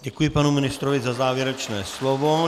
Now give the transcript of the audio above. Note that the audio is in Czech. Děkuji panu ministrovi za závěrečné slovo.